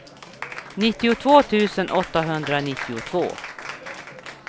nittiotvå tusen åttahundranittiotvå